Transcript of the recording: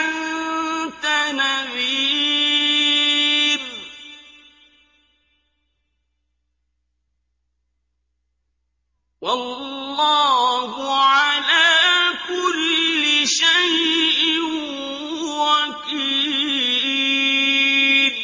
أَنتَ نَذِيرٌ ۚ وَاللَّهُ عَلَىٰ كُلِّ شَيْءٍ وَكِيلٌ